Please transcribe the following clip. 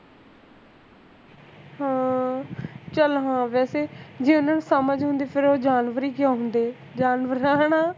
ਹਾਂ ਚੱਲ ਹਾਂ ਵੈਸੇ ਜੇ ਉਹਨਾਂ ਨੂੰ ਸਮਝ ਹੁੰਦੀ ਫੇਰ ਉਹ ਜਾਨਵਰ ਹੀ ਕਿਉਂ ਹੁੰਦੇ ਜਾਨਵਰ ਤਾਂ ਹੈਨਾ